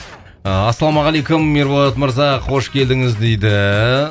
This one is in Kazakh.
ыыы ассалаумағалейкум ерболат мырза қош келдіңіз дейді